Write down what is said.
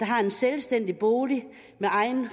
har en selvstændig bolig med egen